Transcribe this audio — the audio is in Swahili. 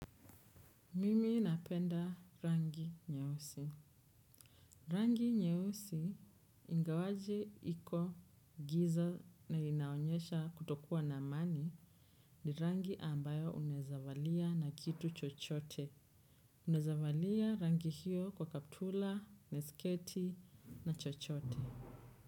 Mimi napenda rangi nyeusi. Rangi nyeusi, ingawaje, iko, giza na inaonyesha kutokua na mani, ni rangi ambayo unezavalia na kitu chochote. Unaezavalia rangi hiyo kwa kaptula, na sketi na chochote.